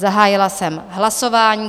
Zahájila jsem hlasování.